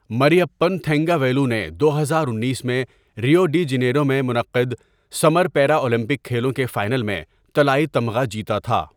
مریپن تھنگاویلو نے دو ہزار انیس میں ریو ڈی جنیرو میں منعقد سمر پیرا اولمپک کھیلوں کے فائنل میں طلائی تمغہ جیتا تھا۔